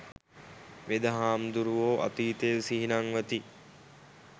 වෙද හාමුදුරුවෝ අතීතය සිහි නංවති